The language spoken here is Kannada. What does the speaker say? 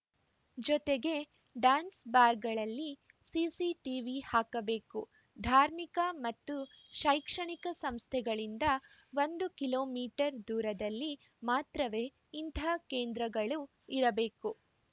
ಜೊತೆಗೆ ಡ್ಯಾನ್ಸ್‌ಬಾರ್‌ಗಳಲ್ಲಿ ಸಿಸಿಟೀವಿ ಹಾಕಬೇಕು ಧಾರ್ಮಿಕ ಮತ್ತು ಶೈಕ್ಷಣಿಕ ಸಂಸ್ಥೆಗಳಿಂದ ಒಂದು ಕಿಲೋ ಮೀಟರ್ ದೂರದಲ್ಲಿ ಮಾತ್ರವೇ ಇಂಥ ಕೇಂದ್ರಗಳು ಇರಬೇಕು